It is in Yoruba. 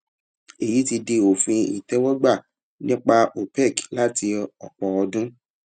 èyí ti di òfin ìtẹwọgbà nípa opec láti ọpọ ọdún